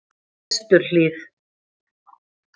Vesturhlíð